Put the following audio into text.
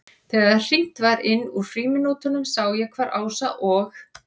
Þegar hringt var inn úr frímínútunum sá ég hvar Ása og